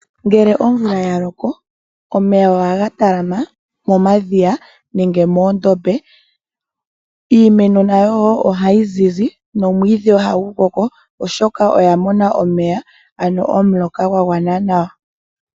Ngele omvula yaloko omeya ohaga talama momadhiya nenge moondombe, iimeno nayo woo ohayi zizi nomwiidhi ohagu koko oshoka oya mona omeya ano omuloka gwa gwana nawa.